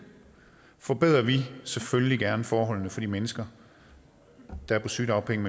forbedrer vi selvfølgelig gerne forholdene for de mennesker der er på sygedagpenge